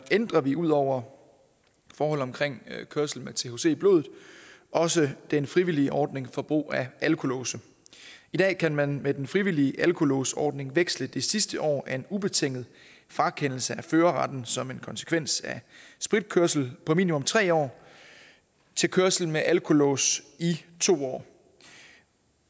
ændrer vi ud over forhold om kørsel med thc i blodet også den frivillige ordning for brug af alkolåse i dag kan man med den frivillige alkolåsordning veksle det sidste år af en ubetinget frakendelse af førerretten som en konsekvens af spritkørsel på minimum tre år til kørsel med alkolås i to år